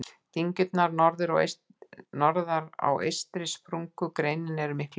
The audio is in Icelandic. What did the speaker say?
Dyngjurnar norðar á eystri sprungureininni eru miklu yngri.